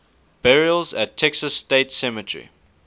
burials at texas state cemetery